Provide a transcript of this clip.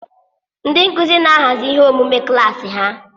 Ndị nkuzi na-ahazi ihe emume klaasi ha.